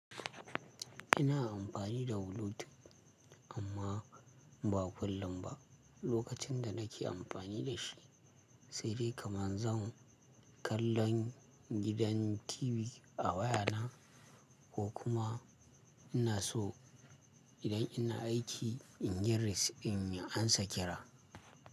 Ina amfani da bluetooth amma ba kullum ba. Lokacin da nake amfani da shi, sai dai kaman zan kallon gidan TV a wayana ko kuma ina so idan ina aiki in yi rest in ansa kira.